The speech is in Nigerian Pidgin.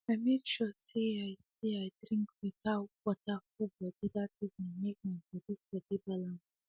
i make sure say i say i drink better water full body that evening make my body for dey balanced